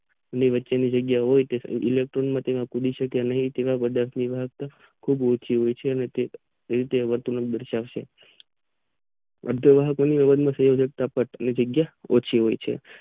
ની વચ્ચે ની જગ્યા હોય તેમાં ઈલેકટ્રોન તેમાં કૂદી શકે નહીં તેવા વાહક ખુબ ઉંચુ હોય છે.